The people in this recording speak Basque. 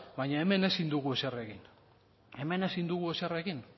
baina hemen ezin dugu ezer egin hemen ezin dugu ezer egin